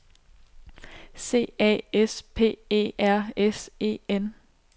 C A S P E R S E N